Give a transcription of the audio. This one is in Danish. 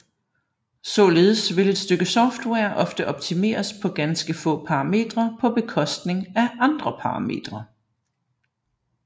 Således vil et stykke software ofte optimeres på ganske få parametre på bekostning af andre parametre